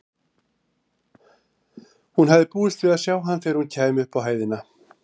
Hún hafði búist við að sjá hann þegar hún kæmi upp á hæðina.